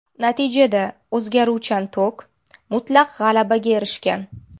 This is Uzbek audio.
Natijada o‘zgaruvchan tok mutlaq g‘alabaga erishgan.